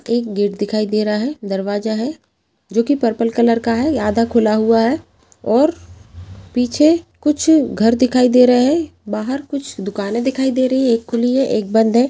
एक गेट दिखाई दे रहा है दरवाजा है जो कि पर्पल कलर का है ये आधा खुला हुआ है और पीछे कुछ घर दिखाई दे रहे बाहर कुछ दुकाने दिखाई दे रही है एक खुली है एक बंद है।